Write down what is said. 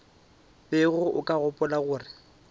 bego o ka gopola gore